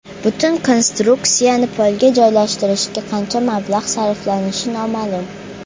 Butun konstruksiyani polga joylashtirishga qancha mablag‘ sarflanishi noma’lum.